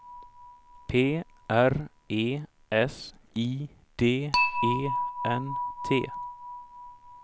P R E S I D E N T